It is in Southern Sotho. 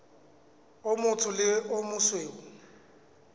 o motsho le o mosweu